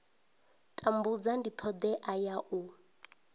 tambudza ndi thodea ya u